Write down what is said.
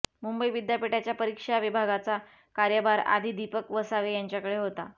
मुंबई विद्यापीठाच्या परीक्षा विभागाचा कार्यभार आधी दिपक वसावे यांच्याकडे होता